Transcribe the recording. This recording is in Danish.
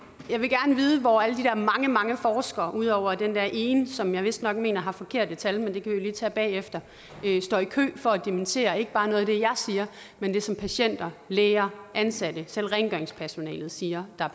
jeg vil gerne vide hvor alle de der mange mange forskere ud over den der ene som jeg vistnok mener har forkerte tal men det kan vi jo lige tage bagefter står i kø for at dementere ikke bare noget af det jeg siger men det som patienter læger ansatte selv rengøringspersonalet siger der